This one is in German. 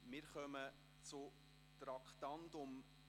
Wir kommen zum Traktandum 49.